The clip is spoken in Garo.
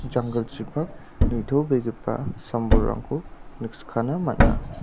janggilchipak nitobegipa sam-bolrangko nikskana man·a.